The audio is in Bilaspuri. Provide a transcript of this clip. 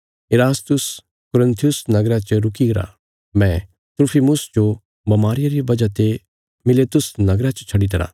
इरास्तुस कुरिन्थुस नगरा च रुकी गरा मैं त्रुफिमुस जो बमारिया रिया वजह ते मिलेतुस नगरा च छड्डीतरा